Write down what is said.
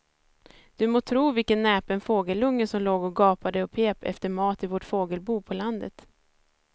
Du må tro vilken näpen fågelunge som låg och gapade och pep efter mat i vårt fågelbo på landet.